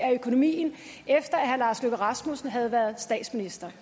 af økonomien efter at herre lars løkke rasmussen havde været statsminister